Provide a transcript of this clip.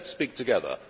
Let us speak together.